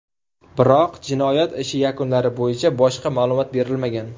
Biroq, jinoyat ishi yakunlari bo‘yicha boshqa ma’lumot berilmagan.